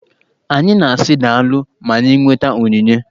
Anyị na-asị daalụ ma anyị nweta onyinye.